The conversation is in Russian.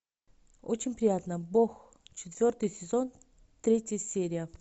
очень приятно бог четвертый сезон третья серия